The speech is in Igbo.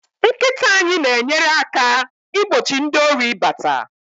nkita anyi na enyere aka igbochi ndi Ori ibata